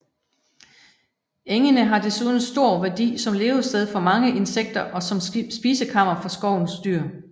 Engene har desuden stor værdi som levested for mange insekter og som spisekammer for skovens dyr